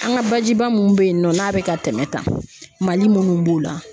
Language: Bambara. An ka bajiba minnu bɛ yen nɔ n'a bɛ ka tɛmɛ tan mali minnu b'o la